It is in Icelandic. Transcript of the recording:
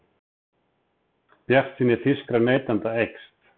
Bjartsýni þýskra neytenda eykst